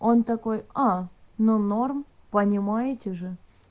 он такой а ну норм понимаете же